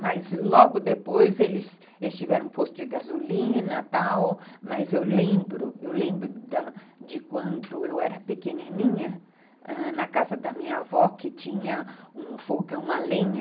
Mas logo depois eles tiveram um posto de gasolina e tal, mas eu lembro eu lembro da de quando eu era pequenininha, ãh, na casa da minha avó, que tinha um fogão a lenha.